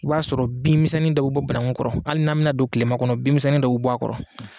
O y'a sɔrɔ binmisɛnnin fitiinin dɔw bɛ bɔ banakun kɔrɔ hali n'a mina don tilema kɔnɔ binmisɛnnin dɔw bɛ bɔ a kɔrɔ.